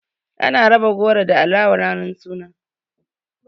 Ana raba goro da alawa ranar suna.